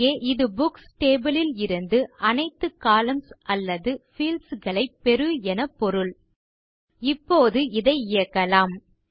இங்கே இது books table ல் இருந்து அனைத்து கொலம்ன்ஸ் அல்லது பீல்ட்ஸ் ஐ பெறு என பொருள் இப்போது இதை இயக்கலாம்